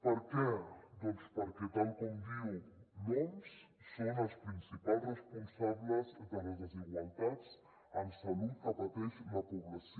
per què doncs perquè tal com diu l’oms són els principals responsables de les desigualtats en salut que pateix la població